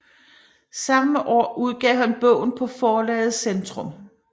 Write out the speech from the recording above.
Samme år udgav han bogen på forlaget Centrum